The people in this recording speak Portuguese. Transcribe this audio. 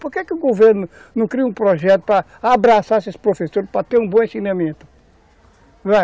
Por que que o governo não cria um projeto para abraçar esses professores, para ter um bom ensinamento?